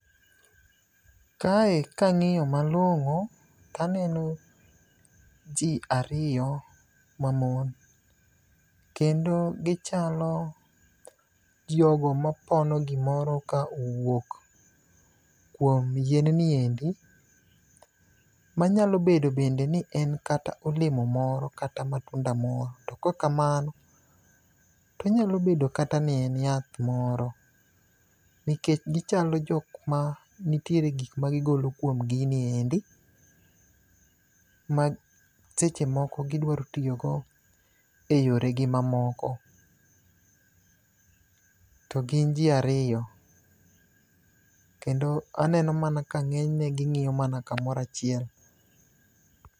Kae kang'iyo malong'o taneno ji ariyo mamon, kendo gichalo jogo mapono gimoro ka owuok kuom yien ni endi, manyalo bedo bende ni en olemo moro kata matunda moro. To kok kamano, tonyalo bedo kata ni en yath moro, nikech gichalo jok ma nitiere gik ma gigolo kuom gini endi ma seche moko gidwaro tiyogo e yoregi mamoko. To gin ji ariyo, kendo aneno mana ka ng'enyne ging'iyo mana kamoro achiel.